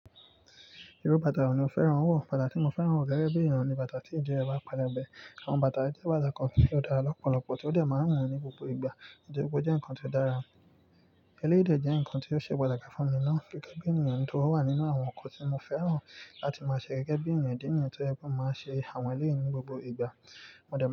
Irú bàtà wo ni o fẹ́ràn wọ̀? Bàtà tí mo fẹ́ràn wọ̀ gẹ́gẹ́ bí èeyan ni bàtà tí ìdí ẹ bá pelebẹ. Àwọn bàtà ye jẹ́ bàtà kan tí ó dára lọ́pọ̀lọpọ̀ tí ó dè máa ń wu mi ní gbogbo ìgbà. Nitori pe o jẹ́ nǹkan tí ó dára. Ẹlẹ́yìí de jẹ́ nǹkan tí ó ṣe pàtàkì fún mi náà gẹ́gẹ́ bí ènìyàn nitori ó wà nínú àwọn nnkan tí mo fẹ́ràn láti máa ṣe gẹ́gẹ́ bí ènìyàn ìdí nìyẹn tó jẹ pe mo máa n ṣe àwọn ẹlẹ́yìí ní gbogbo ìgbà.